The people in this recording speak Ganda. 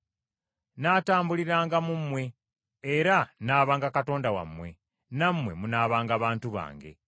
Nnaatambuliranga mu mmwe, era nnaabanga Katonda wammwe, nammwe munaabanga bantu bange.